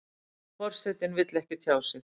Forsetinn vill ekki tjá sig